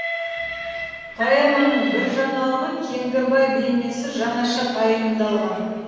поэманың бір жаңалығы кеңгірбай бейнесі жаңаша пайымдалған